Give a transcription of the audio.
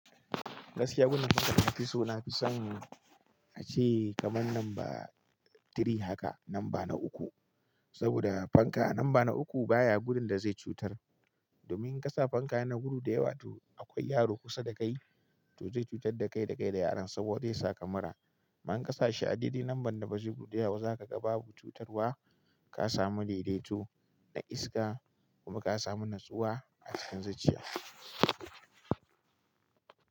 Gaskiya gudun fanka da na fi so na fi son a ce kamar number three haka, namba na uku, saboda fanka namba na uku baya gudun da zai cutar. Domin in ka sa fanka yana gudu da yawa to akwai yaro kusa dakai to zai cutar dakai dakai da yaron saboda zai saka mura. Amma in ka sa shi a daidai nambar da ba zai yi gudu da yawa ba za ka ga babu cutarwa, ka samu daidaito na iska kuma ka samu natsuwa a cikin zuciya.